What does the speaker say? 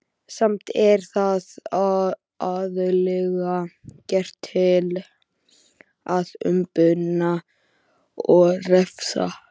Samt er það aðallega gert til að umbuna og refsa.